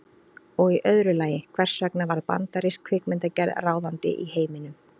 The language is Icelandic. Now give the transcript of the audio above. Og í öðru lagi, hvers vegna varð bandarísk kvikmyndagerð ráðandi í heiminum?